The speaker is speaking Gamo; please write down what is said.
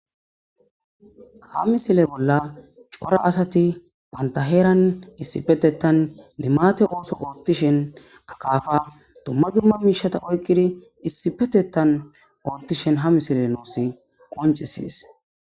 Ha misile bolla cora asati pantaheeran issipetetan limate ooso ortishen akaafa dumma dumma miishata oykqidi issipetetan oottishen ha misile nuusi qoncisies.